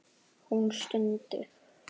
Hún stundi.